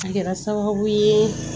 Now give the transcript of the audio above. A kɛra sababu ye